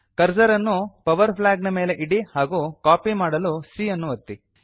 cursor ಅನ್ನು power flag ನ ಮೇಲೆ ಇಡಿ ಹಾಗೂ ಕಾಪಿ ಮಾಡಲು c ಅನ್ನು ಒತ್ತಿ